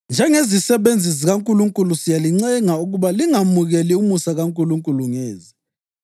Njengezisebenzi zikaNkulunkulu siyalincenga ukuba lingamukeli umusa kaNkulunkulu ngeze.